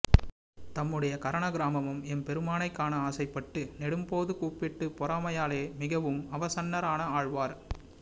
தம்முடைய கரண க்ராமமும் எம்பெருமானைக் காண ஆசைப்பட்டு நெடும் போது கூப்பிட்டு பெறாமையாலே மிகவும் அவசன்னரான ஆழ்வார்